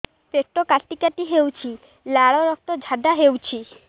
ପେଟ କାଟି କାଟି ହେଉଛି ଲାଳ ରକ୍ତ ଝାଡା ହେଉଛି